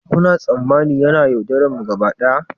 Kuna tsammanin yana yaudararmu gaba daya?